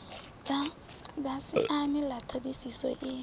ḓa siani ḽa ṱhodisiso i